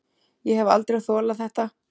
Ég hef aldrei þolað þetta